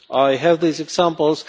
I have these examples